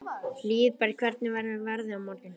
Hlíðberg, hvernig verður veðrið á morgun?